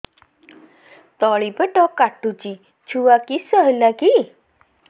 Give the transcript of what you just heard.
ତଳିପେଟ କାଟୁଚି ଛୁଆ କିଶ ହେଲା କି